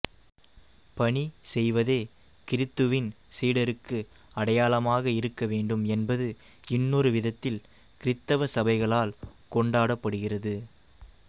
பணிசெய்வதே கிறித்துவின் சீடருக்கு அடையாளமாக இருக்கவேண்டும் என்பது இன்னொரு விதத்தில் கிறித்தவ சபைகளால் கொண்டாடப்படுகிறது